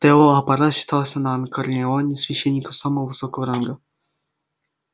тео апорат считался на анакреоне священником самого высокого ранга